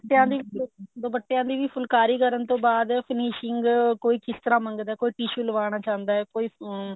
ਦੁਪੱਟਿਆ ਦੀ ਦੁਪੱਟਿਆ ਦੀ ਫੁਲਕਾਰੀ ਕਰਨ ਤੋਂ ਬਾਅਦ finishing ਕੋਈ ਕਿਸ ਤਰ੍ਹਾਂ ਮੰਗਦਾ ਕੋਈ ਕਿਸ ਤਰ੍ਹਾਂ ਕੋਈ tissue ਲਗਵਾਉਣ ਚਾਹੁੰਦਾ ਕੋਈ ਅਮ